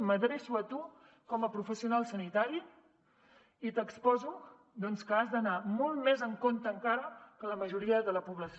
m’adreço a tu com a professional sanitari i t’exposo que has d’anar molt més en compte encara que la majoria de la població